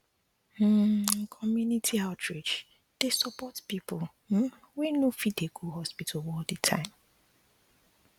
um community um outreach dey support people um wey no dey fit go hospital all the time um